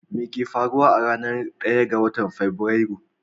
Me ke faruwa a ranar 1 ga Fabrairu?